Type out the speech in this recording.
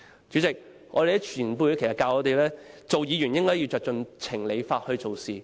主席，我們的前輩教導我們，當議員應該根據情、理、法辦事。